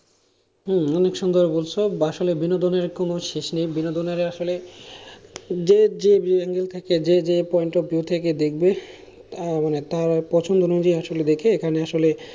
হম অনেক সুন্দর বলেছো আসলে বিনোদনের কোনো শেষ নেই বিনোদন আসলে যে যে angle থেকে যে যে point of view থেকে দেখবে আহ মানে তার পছন্দ অনুযায়ী আসলে দেখে এখানে আসলে